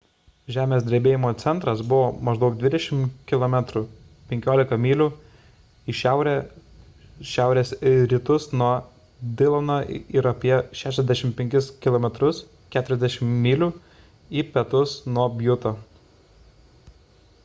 žemės drebėjimo centras buvo maždaug 20 km 15 mylių į šiaurę-šiaurės rytus nuo dilono ir apie 65 km 40 mylių į pietus nuo bjuto